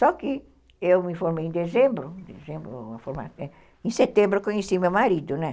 Só que eu me formei em dezembro, em setembro eu conheci meu marido, né?